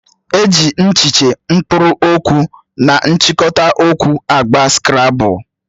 E ji echiche, mkpụrụ okwu na nchikota okwu agba skrabul